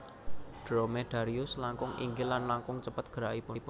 Dromedarius langkung inggil lan langkung cepet gerakipun